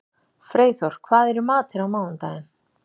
Freyþór, hvað er í matinn á mánudaginn?